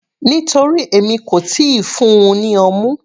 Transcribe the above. Nítorí èmi kò tíì fún-un ní ọmú.